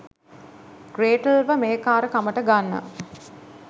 Gretel ව මෙහෙකාරකමට ගන්න